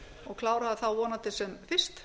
og klára það þá vonandi sem fyrst